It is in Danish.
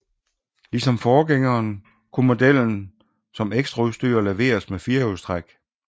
Ligesom forgængeren kunne modellen som ekstraudstyr leveres med firehjulstræk